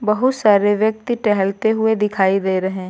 बहुत सारे व्यक्ति टहलते हुए दिखाई दे रहे --